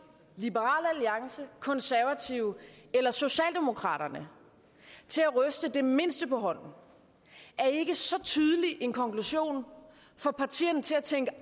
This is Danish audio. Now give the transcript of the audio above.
liberal alliance konservative eller socialdemokraterne til at ryste det mindste på hånden at ikke så tydelig en konklusion får partierne til tænke